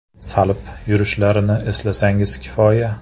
Salib yurishlarini eslasangiz kifoya.